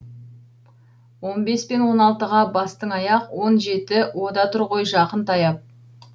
он бес пен он алтыға бастың аяқ он жеті о да тұр ғой жақын таяп